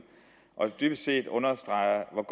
og dybest set understreger